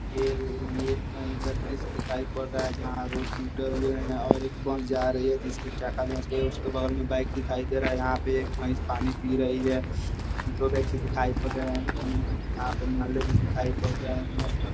ये ये कही का दृश्य दिखाई पड़ रहा है जहां रोड टूटे हुए है और एक बन्स जा रही है उसके बगल में बाइक दिखाई दे रहा है। यहाँ पे एक भैस पानी पी रही है। दो व्यक्ति दिखाई पर रहे है। यहां पे नाले भी दिखाई पर रहे है।